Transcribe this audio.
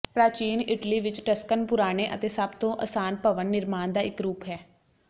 ਪ੍ਰਾਚੀਨ ਇਟਲੀ ਵਿਚ ਟਸਕਨ ਪੁਰਾਣੇ ਅਤੇ ਸਭ ਤੋਂ ਅਸਾਨ ਭਵਨ ਨਿਰਮਾਣ ਦਾ ਇਕ ਰੂਪ ਹੈ